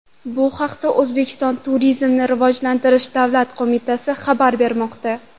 Bu haqda O‘zbekiston Turizmni rivojlantirish davlat qo‘mitasi xabar bermoqda .